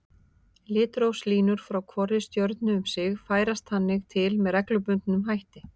Litrófslínur frá hvorri stjörnu um sig færast þannig til með reglubundnum hætti.